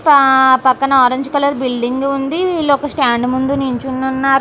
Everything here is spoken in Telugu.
పా పక్కన ఆరంజ్ కలర్ బిల్డింగ్ ఉంది వీళ్ళొక స్టాండ్ ముందు నుంచొని ఉన్నారు --